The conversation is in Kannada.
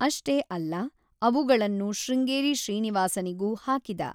ಅಷ್ಟೇ ಅಲ್ಲ, ಅವುಗಳನ್ನು ಶೃಂಗೇರಿ ಶ್ರೀನಿವಾಸನಿಗೂ ಹಾಕಿದ.